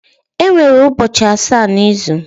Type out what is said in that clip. Enwere ubochi asa na izu